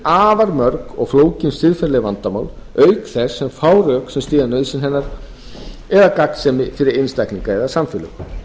afar mörg og flókin siðferðileg vandamál auk þess sem fá rök sem styðja nauðsyn hennar eða gagnsemi fyrir einstaklinga eða samfélög